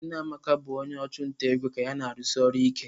Nne Amaka bụ onye ọchụnta ego aka ya na-arụsi ọrụ ike.